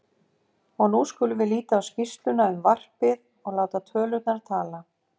Og nú skulum við líta á skýrsluna um varpið og láta tölurnar tala